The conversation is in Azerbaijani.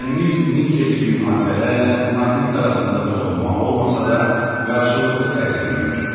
Dəmir, nikel kimi maddələrlə maqnit arasında toxunma olmasa da, qarşılıqlı təsir mövcuddur.